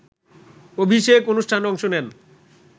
অভিষেক অনুষ্ঠানে অংশ নেন